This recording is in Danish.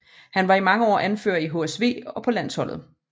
Han var i mange år anfører i HSV og på landsholdet